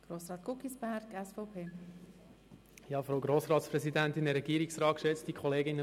Lassen Sie uns gemeinsam auch B sagen.